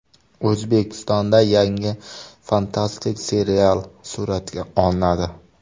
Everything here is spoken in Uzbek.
O‘zbekistonda yangi fantastik serial suratga olinadi.